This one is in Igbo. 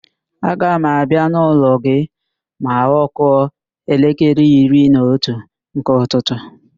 Aga m abịa n'ụlọ gị ma ọ kụọ elekere iri na otu nke ụtụtụ